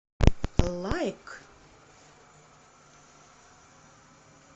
лайк